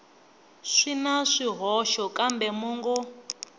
swi na swihoxo kambe mongo